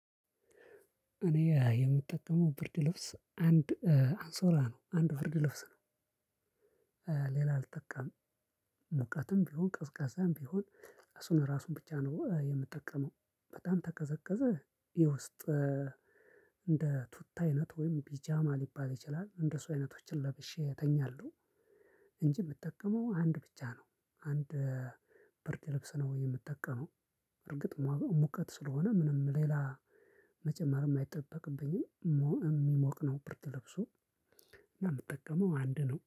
እኔ የምጠቀመው ብርድ ልብስ አንድ እንሶላ ነው አንድ ብርድ ልብስ ነው። ሌላ አልጠቃም። ሙቀትም ቢሆን ቀዝቃዛም ቢሆን እሱን ራሱን ብቻ ነው የምጠቀመው። በጣም ተቀዘቀዘ። የውስጥ እንደ ቱታ አይነት ወይም ቢጃማ ሊባል ይችላል እንደሱ አይነቶችን ለብሼ እተኛለሁ። እንጂ የምጠቀመው አንድ ብቻ ነው አንድ ብርድ ልብስ ነው የምጠቀመው። እርግጥ ሙቀት ስለሆነ ምንም ሌላ መጨመርም አይጠበቅብኝም ሞ የሚሞቅ ነው ብርድልብሱ። እና ምጠቀመው አንድ ነው